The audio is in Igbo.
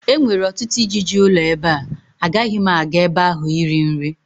e nwere ọtụtụ ijiji ụlọ ebe a, agaghị m aga ebe ahụ iri nri